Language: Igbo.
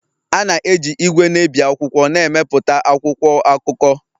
A na-eji igwe na-ebi akwụkwọ na-emepụta akwụkwọ akụkọ